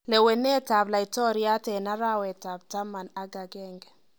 Lewenetab laitoriat eng arawetab taman ak akenge